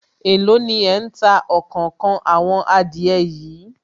Èló ni ẹ̀ ń ta òkòókan àwọn adìẹ yìí